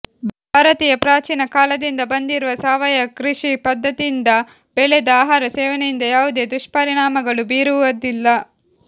ಭಾರತಿಯ ಪ್ರಾಚೀನ ಕಾಲದಿಂದ ಬಂದಿರುವ ಸಾವಯವ ಕೃಷಿ ಪದ್ಧತಿಯಿಂದ ಬೆಳೆದ ಆಹಾರ ಸೇವನೆಯಿಂದ ಯಾವುದೇ ದುಷ್ಪರಿಣಾಮಗಳು ಬೀರವುದಿಲ್ಲ